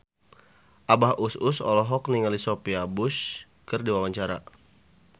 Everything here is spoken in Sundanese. Abah Us Us olohok ningali Sophia Bush keur diwawancara